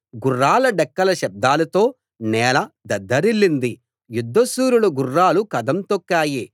గుర్రాల డెక్కల శబ్దాలతో నేల దద్దరిల్లింది యుద్ధశూరుల గుర్రాలు కదం తొక్కాయి